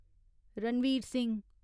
Ranbir Singh